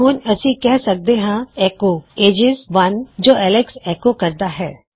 ਹੁਣ ਅਸੀਂ ਕਿਹ ਸਕਦੇ ਹਾਂ ਐੱਕੋ ਏਜਿਜ ਇੱਕ ਜੋ ਐਲੇਕਸ ਨਿਕਲਦਾ ਹੈ